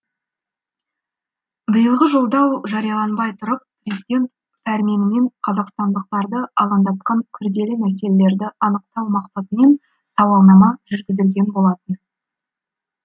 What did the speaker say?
биылғы жолдау жарияланбай тұрып президент пәрменімен қазақстандықтарды алаңдатқан күрделі мәселелерді анықтау мақсатымен сауалнама жүргізілген болатын